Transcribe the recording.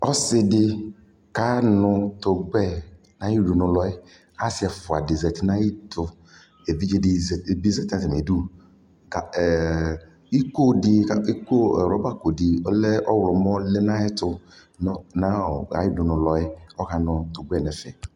Ɔsɛdɛ kanu tugbɛ Ayudunulɔɛ asiɛfuadɛ zati nayitu evidʒe dɛzati natamidu ɛɛɛ iko di kʋ rɔba kodiɔlɛ ɔwlɔmɔ ɔlɛ nayɛtu nayudulɔɛ, ɔkanu tugbɛ nɛfɛ